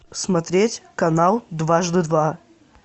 смотреть канал дважды два